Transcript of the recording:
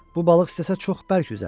Bu balıq istəsə çox bərk üzər.